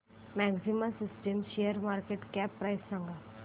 maxima systems शेअरची market cap price सांगा